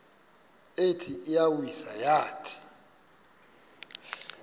ithi iyawisa yathi